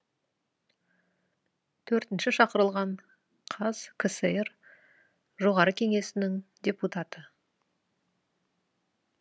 төртінші шақырылған қазкср жоғары кеңесінің депутаты